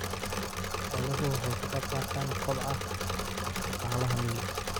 Xooluhu waxay ka qaybqaataan kobaca dhaqaalaha miyiga.